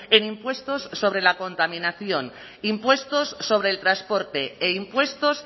en impuestos sobre la contaminación impuestos sobre el transporte e impuestos